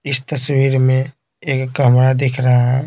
इस तस्वीर में एक कमरा दिख रहा है।